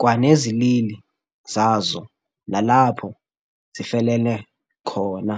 kwanezilili zazo nalapho zifelene khona.